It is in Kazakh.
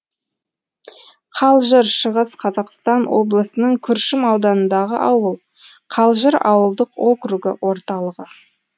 қалжыр шығыс қазақстан облысының күршім ауданындағы ауыл қалжыр ауылдық округі орталығы